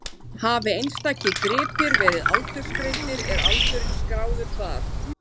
Hafi einstakir gripir verið aldursgreindir er aldurinn skráður þar.